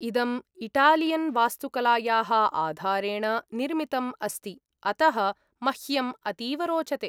इदम् इटालियन् वास्तुकलायाः आधारेण निर्मितम् अस्ति, अतः मह्यं अतीव रोचते।